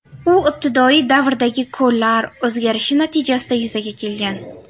U ibtidoiy davrdagi ko‘llar o‘zgarishi natijasida yuzaga kelgan.